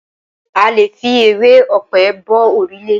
A lè fi ewé ọ̀pẹ bo òrùlé.